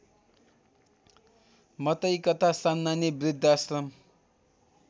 मतैकता सान्नानी वृद्धाश्रम